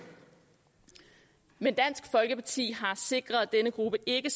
men dansk folkeparti har sikret at denne gruppe ikke